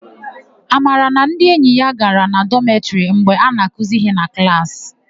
Amara na ndi enyi ya gara na dọmetịrị mgbe a na-akụzi íhé na klaasị.